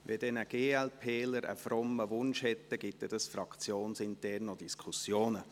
Wenn ein Glp-ler einen frommen Wunsch hat, dann gibt das fraktionsintern noch Diskussionen.